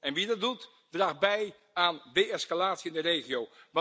En wie dat doet, draagt bij aan de-escalatie in de regio.